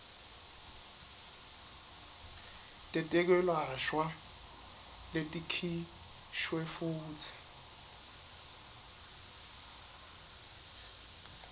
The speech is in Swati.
tetekwelashwa letikhishwe futsi